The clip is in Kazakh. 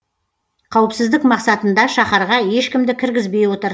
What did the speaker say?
қауіпсіздік мақсатында шаһарға ешкімді кіргізбей отыр